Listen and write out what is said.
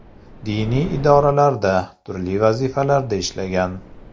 Diniy idoralarda turli vazifalarda ishlagan.